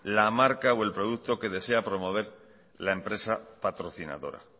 la marca o el producto que desea promover la empresa patrocinadora